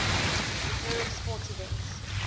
recurring sporting events